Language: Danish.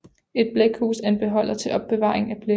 Et blækhus er en beholder til opbevaring af blæk